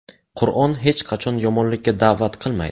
Qur’on hech qachon yomonlikka da’vat qilmaydi.